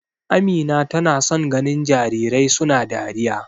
Amina tana son ganin jarirai suna dariya.